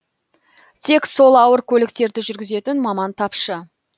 тек сол ауыр көліктерді жүргізетін маман тапшы